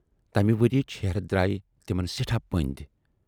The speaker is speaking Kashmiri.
تمہِ ؤریِچ ہیرتھ درایاے تِمن سٮ۪ٹھاہ پٔندۍ۔